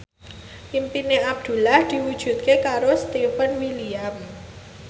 impine Abdullah diwujudke karo Stefan William